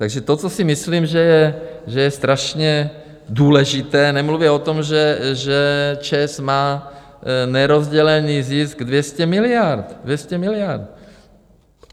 Takže to, co si myslím, že je strašně důležité, nemluvě o tom, že ČEZ má nerozdělený zisk 200 miliard, 200 miliard!